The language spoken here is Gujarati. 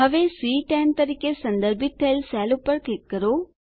હવે સી10 તરીકે સંદર્ભિત થયેલ સેલ પર ક્લિક કરો